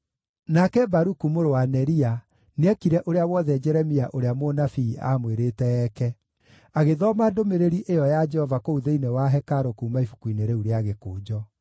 Nake Baruku mũrũ wa Neria nĩekire ũrĩa wothe Jeremia ũrĩa mũnabii aamwĩrĩte eeke; agĩthoma ndũmĩrĩri ĩyo ya Jehova kũu thĩinĩ wa hekarũ kuuma ibuku-inĩ rĩu rĩa gĩkũnjo.